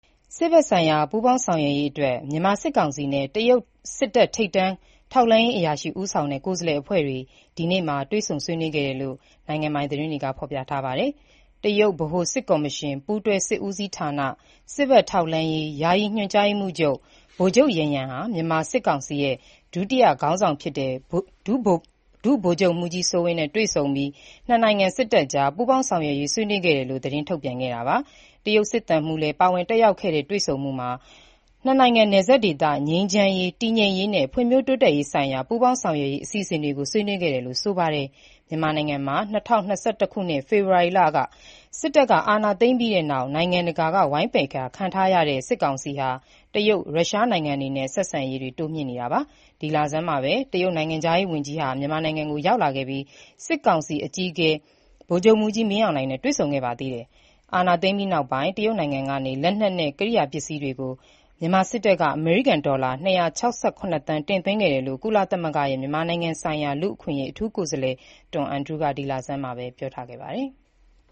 စစ်ဘက်ဆိုင်ရာ ပူးပေါင်းဆောင်ရွက်ရေးအတွက် မြန်မာစစ်ကောင်စီနဲ့ တရုတ်ထိပ်တန်း ထောက်လှမ်းရေးအရာရှိ ဦးဆောင်တဲ့ ကိုယ်စားလှယ်အဖွဲ့ ဆွေးနွေးခဲ့ကြောင်း နိုင်ငံပိုင်သတင်းတွေက ဖော်ပြပါတယ်။ တရုတ်ဗဟိုစစ်ကော်မရှင်၊ ပူးတွဲစစ်ဦးစီးဌာန၊ စစ်ဘက်ထောက်လှမ်းရေး ယာယီညွှန်ကြားရေးမှူးချုပ် ဗိုလ်ချုပ် ယန်ယန် ဟာ စစ်ကောင်စီ ဒုတိယ ဥက္ကဌ၊ ဒုတိယ ဗိုလ်ချုပ်မှူးကြီး စိုးဝင်းနဲ့ တွေ့ဆုံပြီး ၂ နိုင်ငံ စစ်တပ်ကြား ပူးပေါင်းဆောင်ရွက်ရေး ဆွေးနွေးခဲ့တယ်လို့ သတင်းထုတ်ပြန်ခဲ့တာပါ။ တရုတ်စစ်သံမှုးလည်း ပါဝင်တက်ရောက်ခဲ့တဲ့ တွေ့ဆုံမှုအတွင်း ၂ နိုင်ငံနယ်စပ်ဒေသ ငြိမ်းချမ်းရေး၊ တည်ငြိမ်ရေးနဲ့ ဖွံ့ဖြိုးတိုးတက်ရေးဆိုင်ရာ ပူးပေါင်းဆောင်ရွက်ရေး အစီအစဉ်တွေကို ဆွေးနွေးခဲ့တယ်လို့လည်း ဆိုပါတယ်။ မြန်မာနိုင်ငံမှာ ၂၀၂၁ ခုနှစ် ဖေဖော်ဝါရီလ စစ်တပ်က အာဏာသိမ်းပြီးနောက်ပိုင်း နိုင်ငံတကာက ဝိုင်းပယ်ခံရတဲ့ စစ်ကောင်စီဟာ တရုတ်၊ရုရှား နိုင်ငံတွေနဲ့ ဆက်ဆံရေးတွေ တိုးမြှင့်နေတာပါ။ မေလဆန်းတုန်းကလည်း တရုတ်နိုင်ငံခြားရေးဝန်ကြီး မြန်မာနိုင်ငံကို လာရောက်ခဲ့ပြီး စစ်ကောင်စီ အကြီးအကဲ ဗိုလ်ချုပ်မှူးကြီး မင်းအောင်လှိုင်နဲ့ တွေ့ဆုံခဲ့ပါတယ်။ အာဏာသိမ်းပြီးနောက်ပိုင်း တရုတ်နိုင်ငံကနေ လက်နက်နဲ့ ကိရိယာပစ္စည်းတွေကို မြန်မာစစ်တပ်က အမေရိကန်ဒေါ်လာ ၂၆၇ သန်း တင်သွင်းခဲ့တယ်လို့ ကုလသမဂ္ဂရဲ့ မြန်မာနိုင်ငံဆိုင်ရာ လူ့အခွင့်အရေး အထူးကိုယ်စားလှယ် Tom Andrews ကလည်း ဒီလဆန်းမှာပဲ ပြောထားပါတယ်။